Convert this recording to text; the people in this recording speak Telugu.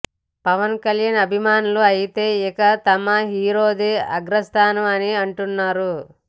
పవన్ కల్యాన్ అభిమానులు అయితే ఇక తమ హీరోదే అగ్రస్థానం అని అంటున్నారు